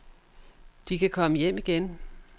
De kan komme hjem igen.